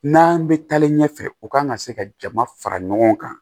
N'an bɛ taalen ɲɛfɛ u kan ka se ka jama fara ɲɔgɔn kan